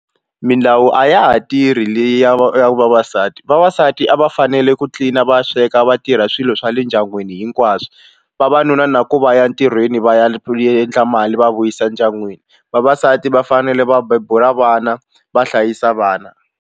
Milawu a ya ha tirhi leyi ya ya vavasati vavasati a va fanele ku tlilina va sweka va tirha swilo swa le ndyangwini hinkwaswo vavanuna na ku va ya ntirhweni va ya endla mali va vuyisa ndyangwini vavasati va fanele va bebula vana va hlayisa vana.